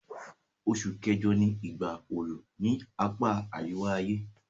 Osù kẹ́jọ ni ìgbà oru ni apá àríwá-ayé